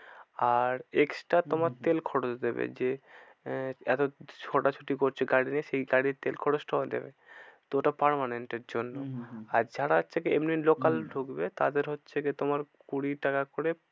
আর extra তোমার তেল খরচ দেবে যে আহ এতো ছোটাছুটি করছো গাড়ি নিয়ে সেই গাড়ির তেল খরচটা ওরা দেবে তো ওটা permanent এর জন্য। হম হম হম আর যারা হচ্ছে কি এমনি local ঢুকবে তাদের হচ্ছে কি তোমার কুড়ি টাকা করে